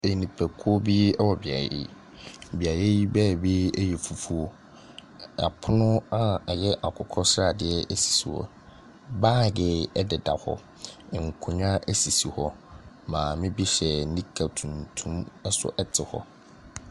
Ɛnipakuo bi ɛwɔ beaeɛ yi. Beaeɛ yi baabi ɛyɛ fufuo. Apono a ɛyɛ akokɔ sradeɛ esisi hɔ. Bag ɛdeda hɔ, nkondwa esisi hɔ. Maame bi hyɛ nika tuntum nso ɛte hɔ.